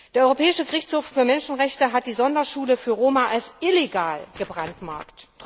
Der Europäische Gerichtshof für Menschenrechte hat die Sonderschule für Roma als illegal gebrandmarkt.